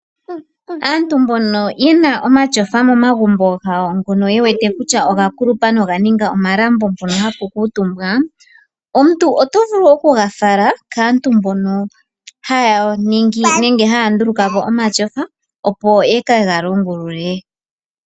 Aantu mbono yena omatyofa gawo momagumbo ngono ye wete kutya oga kulupa noganinga omalambo mpono hapu kuutumbwa, omuntu oto vulu okuga fala kaantu mbono haya ningi nenge haya ndulukapo omatyofa opo ye kega longulule.